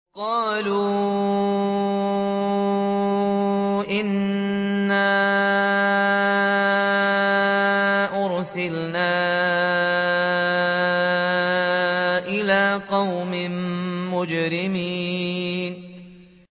قَالُوا إِنَّا أُرْسِلْنَا إِلَىٰ قَوْمٍ مُّجْرِمِينَ